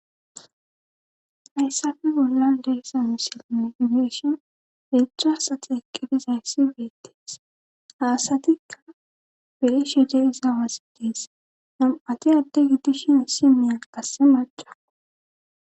hayssafe bollan deessa musiline iyeshon peechchasati ekkebiz hayssi beettees haasatikka pelishide iza wasi dies nam7ati adde giddishin issineya kasse maca